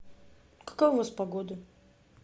какая у вас погода